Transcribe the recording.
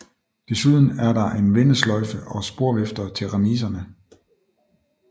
Desuden er der en vendesløjfe og sporvifter til remiserne